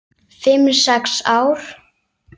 Fimm, sex ár?